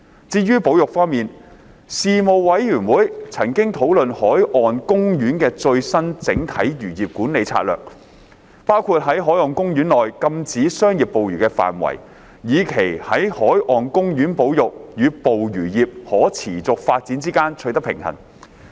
至於保育方面，事務委員會曾討論海岸公園的最新整體漁業管理策略，包括在海岸公園內禁止商業捕魚的範圍，以期在海岸公園保育與捕魚業可持續發展之間取得平衡。